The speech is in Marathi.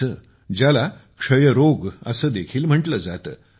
चे ज्याला क्षयरोग देखील म्हंटले जाते